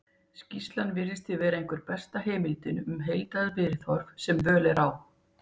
skýrslan virðist því vera einhver besta heimildin um heildarviðhorf sem völ er á